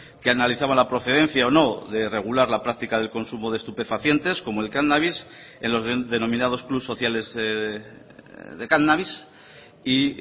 que analizaba la procedencia o no de regular la práctica del consumo de estupefacientes como el cannabis en los denominados clubs sociales de cannabis y